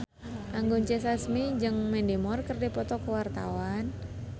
Anggun C. Sasmi jeung Mandy Moore keur dipoto ku wartawan